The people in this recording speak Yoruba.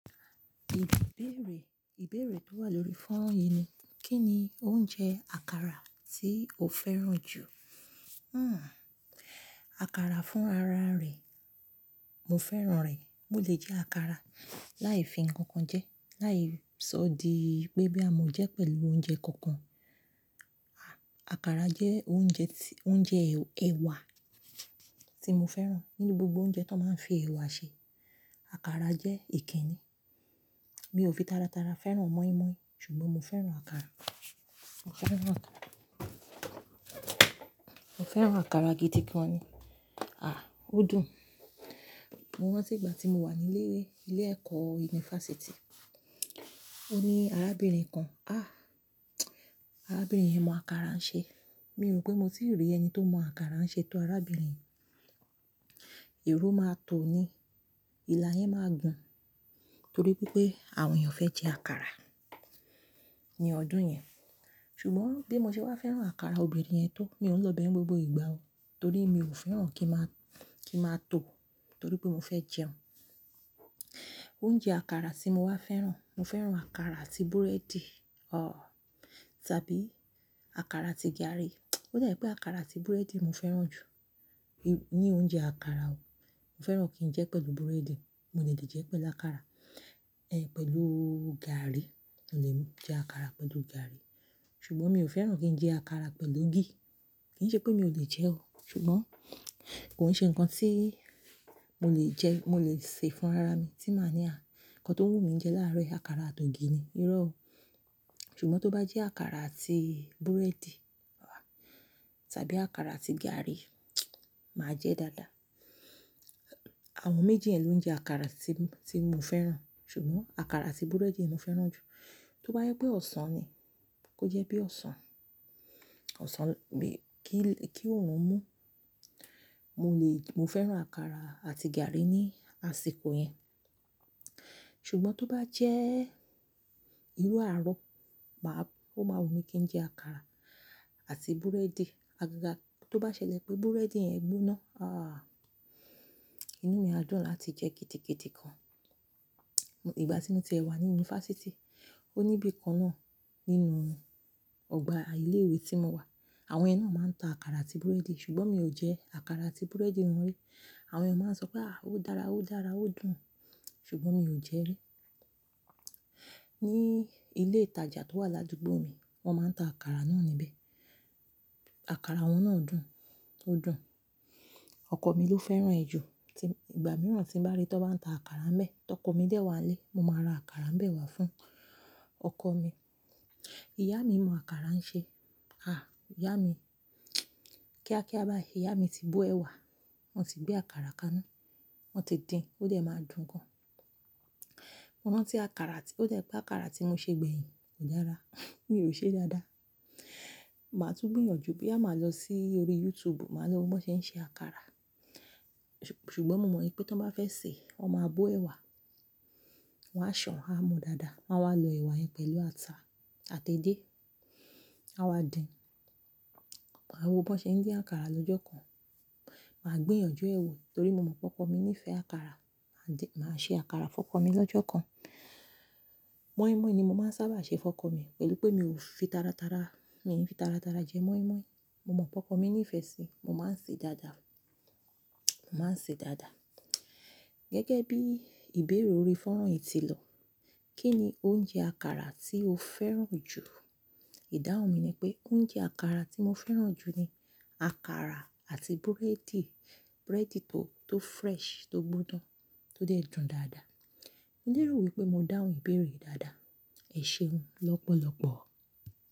Ìbéèrè, ìbéèrè tó wà lórí fóran yìí ni: Kí ni oúnjẹ àkàrà tí o fẹ́ràn jù? Hmm. Àkàrà fún ara rẹ̀. Mo fẹ́ràn rẹ̀. Mo lè jẹ àkàrà láì fi nǹkan jẹ, láì sọ di pé bí a mọ jẹ pẹ̀lú oúnjẹ kankan. À-àkàrà jẹ́ oúnjẹ tí, oúnjẹ ẹwà tí mo fẹ́ràn. Nínú gbogbo oúnjẹ tó máa ń fi ẹ̀wà ṣe, àkàrà jẹ́ èké ni. Mi ò fi tara tara fẹ́ràn mọ́ímọ́í ṣùgbọ́n mo fẹ́ràn àkàrà. Mo fẹ́ràn àkàrà. Mo fẹ́ràn àkàrà gidi gan ni. A À, ó dùn. Mo rántí ìgbà tí mo wà ní ilé, ilé ẹ̀kọ́ yunifásítì. Ó ní arábìnrin kan. Àh! Arábìnrin yẹn mọ àkàrà ń ṣe. Mi rò pé mo ti rí ẹni tó mọ àkàrà ń ṣe tó arábìnrin. Èrò máa tó ni. Ìlà yẹn máa dùn torí pé pé àwọn èèyàn fẹ́ jẹ àkàrà ní ọdún yẹn. Ṣùgbọ́n bí mo ṣe bá fẹ́ràn àkàrà obìnrin yẹn tó, mi ò lọ bẹ̀ ẹ́ gbogbo ìgbà o torí mi ò fẹ́ràn kí ń má, kí ń máa tó torí pé mo fẹ́ jẹun. Oúnjẹ àkàrà tí mo wá fẹ́ràn, mo fẹ́ràn àkàrà àti búrẹ́dì. Ọ́! Tàbí àkàrà àti gàrí. Ó dàbí pé àkàrà àti búrẹ́dì mo fẹ́ràn jù. Ní oúnjẹ àkàrà o. Mo fẹ́ràn kí n jẹ́ pẹ̀lú búrẹ́dì, mo fè jẹ́ pẹ̀lú àkàrà, ẹ, pẹ̀lú gàrí. Mo lè jẹ àkàrà pẹ̀lú gàrí ṣùgbọ́n mi ò fẹ́ràn kí n jẹ àkàrà pẹ̀lú ogi. Kì í ṣe pé mi ò lè jẹ ẹ́ o ṣùgbọ́n kò ń ṣe nǹkan tí mo lè jẹ, mo lè ṣe fún ara mi tí màá ní a ǹkan tó wù mí jẹ láàárọ̀ àkàrà àti ògì ni, irọ́ o. Ṣùgbọ́n tó bá jẹ́ àkàrà àti búrẹ́dì àá, tàbí àkàrà àti gàrí, máa jẹ́ dáadáa. Àwọn méjì yẹn ló ń jẹ àkàrà tí, tí mo fẹ́ràn ṣùgbọ́n àkàrà àti búrẹ́dì ni mo fẹ́ràn jù. Tó bá yẹ pé ọ̀sán ni, kó jẹ́ bí ọ̀sán. Ọ̀sán mi kí, kí òórùn mú. Mo lè, mo fẹ́ràn àkàrà àti gàrí ní àsìkò yẹn. Ṣùgbọ́n tó bá jẹ́ irú àárọ̀, màá, ó máa wù mí kí n jẹ àkàrà àti búrẹ́dì. Àga tó bá ṣẹlẹ̀ pé búrẹ́dì yẹn gbóná, àh! Inú mi á dùn láti jẹ kììdìkììdì gan. Ìgbà tí mo ti wà ní yunifásítì, ó ní ibi kan náà nínú ọgbà ilé ìwé tí mo wà. Àwọn ẹni náà máa ń ta àkàrà àti búrẹ́dì ṣùgbọ́n mi ò jẹ àkàrà àti búrẹ́dì wọn rí. Àwọn ẹni máa ń sọ pé, "à, ó dára, ó dára, ó dùn" ṣùgbọ́n mi ò jẹ ẹ́ rí. Ní ilé ìtajà tó wà ládùúgbò mi, wọ́n máa ń ta àkàrà náà níbẹ̀. Àkàrà wọn náà dùn, ó dùn. Ọkọ̀ mi ló fẹ́ràn ẹ̀ jù. Ìgbà mìíràn tí ń bá rí tí wọ́n bá ń ta àkàrà n bẹ́ẹ̀, tọkọ mi dé wá lé, mo máa ra àkàrà bẹ́ẹ̀ wá fún ọkọ mi. Ìyá mi mọ àkàrà ń ṣe. Àh! Ìyá mi kíákíá bá i, ìyá mi ti bú ẹ̀ wà, wọ́n ti gbé àkàrà kaná, wọ́n ti dín, ó dẹ̀ máa dùn gan. Mo rántí àkàrà tí, ó dà pé àkàrà tí mo ṣe gbẹ̀yìn kò dára. Mi ò ṣe dáadáa. Màá tún gbìyànjú bí a máa lọ sí orí YouTube, màá lọ wo bí wọ́n ṣe ń ṣe àkàrà. Ṣùgbọ́n mo mọ̀ pé tí wọ́n bá fẹ́ sèé, wọ́n máa bú ẹ̀ wà, wọ́n á ṣàn án mu dáadáa, wọ́n á wá lo ẹ̀wà yẹn pẹ̀lú ata àti edé. A wá dín. Màá wo bí wọ́n ṣe ń dín àkàrà lọ́jọ́ kan. Màá gbìyànjú ẹ wò torí mo mọ̀ pé ọkọ mi nífẹ̀ẹ́ àkàrà. Màá dín, màá ṣe àkàrà fún ọkọ mi lọ́jọ́ kan. Mọ́ímọ́í ni mo máa ń sábà ṣe fún ọkọ mi pẹ̀lú pé mi ò fi tara tara, mi ò fi tara tara jẹ mọ́ímọ́í. Mo mọ̀ pé ọkọ mi nífẹ̀ẹ́ síi, mo máa ń ṣe dáadáa. Mo máa ń ṣe dáadáa. Gẹ́gẹ́ bí ìbéèrè orí fónu yìí ti lọ, kí ni oúnjẹ àkàrà tí o fẹ́ràn jù? Ìdáhùn mi ni pé oúnjẹ àkàrà tí mo fẹ́ràn jù ni àkàrà àti búrẹ́dì, búrẹ́dì tó, tó fresh, tó gbóná, tó dẹ̀ dùn dáadáa. Mo ní ìrówú pé mo dáhùn ìbéèrè dáadáa. Ẹ ṣeun lọ́pọ̀lọpọ̀.